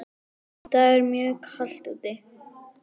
Í dag er mjög kalt úti.